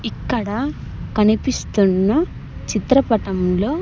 ఇక్కడ కనిపిస్తున్న చిత్రపటంలో.